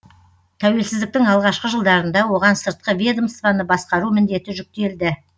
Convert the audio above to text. тәуелсіздіктің алғашқы жылдарында оған сыртқы ведомствоны басқару міндеті жүктелді